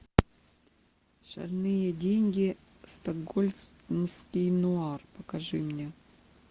шальные деньги стокгольмский нуар покажи мне